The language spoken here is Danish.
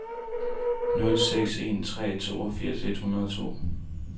nul seks en tre toogfirs et hundrede og to